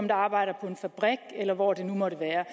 der arbejder på en fabrik eller hvor det nu måtte være